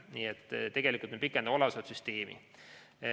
Nii et tegelikult me pikendame olemasolevat süsteemi.